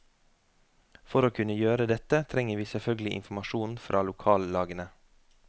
For å kunne gjøre dette trenger vi selvfølgelig informasjon fra lokallagene.